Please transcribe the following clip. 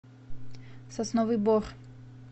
сосновый бор